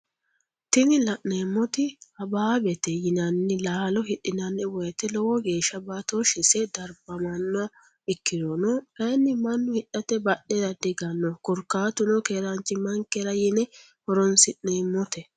Tini la'neemoti habaabete yinanni laalo hidhinanni woyiite lowo geeshsha baatoshshise darbamanno ikkirono kayiinni mannu hidhate badhera dihiganno korkaatuno keeranchimankera yine horonsi'neemote.